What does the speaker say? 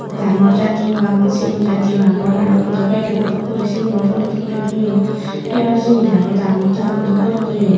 dangor jatiyo agon sigon jatiyo agon aro dudo packedo dok guri siguno bure toyon hebar jinich aro dalmood talmoodo bore toyon.